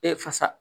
E fasa